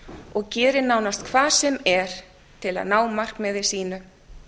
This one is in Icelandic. og gerir nánast hvað sem er til að ná markmiði sínu